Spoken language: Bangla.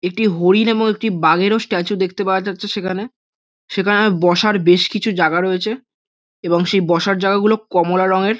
একটি হরিণ এবং একটি বাঘেরও স্ট্যাচু দেখতে পাওয়া যাচ্ছে সেখানে সেখানে বসার বেশ কিছু জায়গা রয়েছে এবং সেই বসার যায়গাগুলো কমলা রঙের।